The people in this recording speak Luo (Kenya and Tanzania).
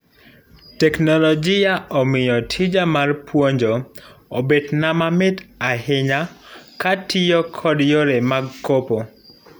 Teknologia omiyo tija mar puonjpo obetna mamit ahinya katiyo kod yore mag kopo.